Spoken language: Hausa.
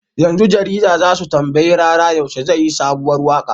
Yanzu jarida zasu tambayi rara yaushe zai yi sabuwar waƙa